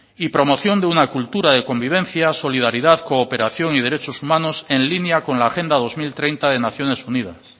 y promoción de una cultura de convivencia solidaridad cooperación y derechos humanos en línea con la agenda dos mil treinta de naciones unidas